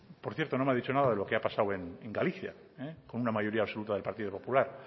por cierto no me ha dicho nada de lo que ha pasado en galicia con una mayoría absoluta del partido popular